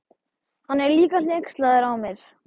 Hann er líka hneykslaður á mér.